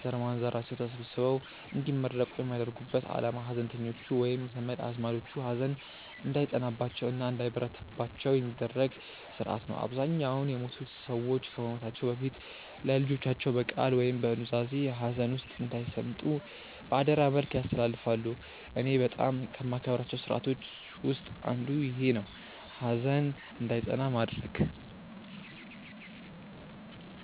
ዘርማንዘራቸው ተሰብስበው እንዲመረቁ የሚያደርጉበት አላማ ሀዘንተኞቹ ወይም ዘመድ አዝማዶቹ ሀዘን እንዳይጸናባቸው እና እንዳይበረታባቸው የሚደረግበት ስርአት ነው። አብዛኛውን የሞቱት ሰዎች ከመሞታቸው በፊት ለልጆቻቸው በቃል ወይም በኑዛዜ ሀዘን ውስጥ እንዳይሰምጡ በአደራ መልክ ያስተላልፋሉ። እኔ በጣም ከማከብራቸው ስርአቶች ውስጥ አንዱ ይኼ ነው፣ ሀዘን እንዳይጸና ማድረግ።